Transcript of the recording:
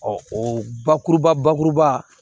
o bakuruba bakuruba